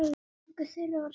Engu þeirra var skemmt.